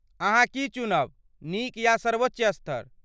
अहाँ की चुनब नीक या सर्वोच्च स्तर?